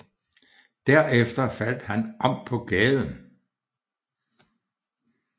Derefter faldt han om på gaden